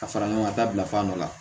Ka fara ɲɔgɔn ŋa da bila fan dɔ la